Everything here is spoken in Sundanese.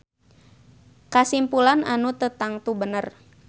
Kasimpulan anu teu tangtu bener.